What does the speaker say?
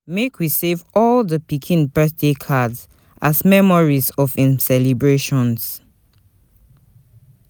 Make we save all di pikin birthday cards, as memories of im celebrations.